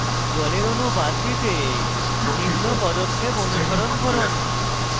জলের অণু বাদ দিতে নিম্ন পদক্ষেপ অনুসরণ করুন